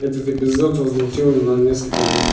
этот эпизод возмутил на несколько минут